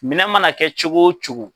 Minɛn mana kɛ cogo o cogo